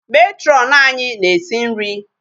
Matron anyị na-esi nri.